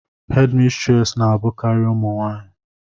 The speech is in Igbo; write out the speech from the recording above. hédmistrés na-abụkarị ụmụ nwanyị